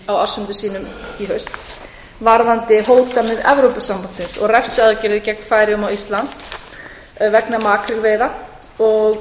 á ársfundi sínum í haust varðandi hótanir evrópusambandsins og refsiaðgerðir gegn færeyjum og íslandi vegna makrílveiða og